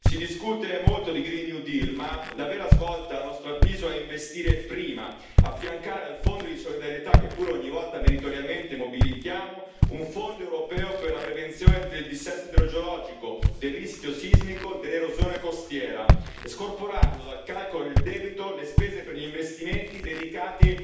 Si discute molto di green new deal ma la vera svolta, a nostro avviso, è investire prima, affiancare al Fondo di solidarietà, che pur ogni volta meritoriamente mobilitiamo, un Fondo europeo per la prevenzione del dissesto idrogeologico, del rischio sismico e dell'erosione costiera, scorporando dal calcolo del debito le spese per gli investimenti dedicati